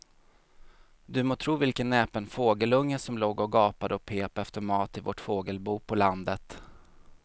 Du må tro vilken näpen fågelunge som låg och gapade och pep efter mat i vårt fågelbo på landet.